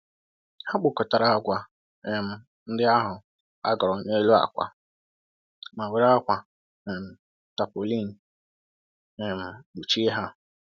Ha kpokọtara agwa um ndị ahụ a ghọrọ n'elu akwa ma were akwa um tarpaulin um kpuchie ha.